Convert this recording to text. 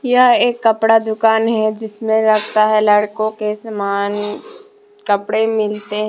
यह एक कपड़ा दुकान है जिसमें लगता है लड़कों के समान कपड़े मिलते हैं।